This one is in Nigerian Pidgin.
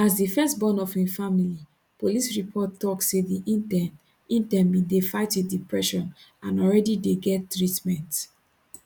as di first born of im family police report tok say di intern intern bin dey fight wit depression and already dey get treatment